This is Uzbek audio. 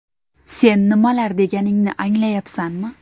Sen nimalar deganingni anglayapsanmi?